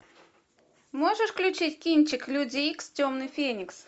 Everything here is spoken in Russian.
можешь включить кинчик люди икс темный феникс